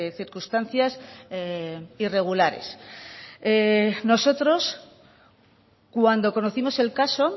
circunstancias irregulares nosotros cuando conocimos el caso